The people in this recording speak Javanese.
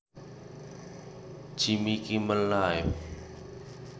Jimmy Kimmel Live